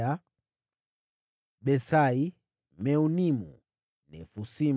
wazao wa Besai, Meunimu, Nefusimu,